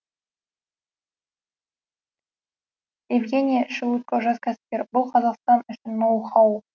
евгения шелудько жас кәсіпкер бұл қазақстан үшін ноу хау